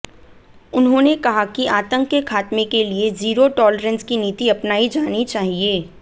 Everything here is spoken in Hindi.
उन्होंने कहा कि आतंक के खात्मे के लिए जीरो टॉलरेंस की नीति अपनाई जानी चाहिए